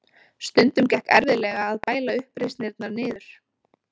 Stundum gekk erfiðlega að bæla uppreisnirnar niður.